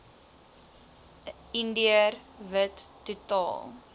indiër wit totaal